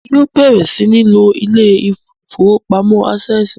Èmi yóò bẹrẹ sìn ló ilé ìfowópamọ́ Access.